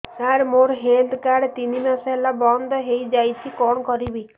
ସାର ମୋର health card ତିନି ମାସ ହେଲା ବନ୍ଦ ହେଇଯାଇଛି କଣ କରିବି